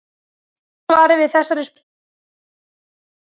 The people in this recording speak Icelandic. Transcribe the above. Stutta svarið við þessari spurningu er nei.